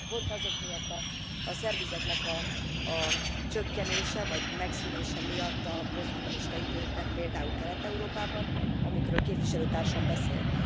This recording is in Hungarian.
Pont azok miatt a szervizeknek a csökkenése vagy megszűnése miatt a posztkommunista időben, például Kelet Európában, amikről képviselőtársam beszélt.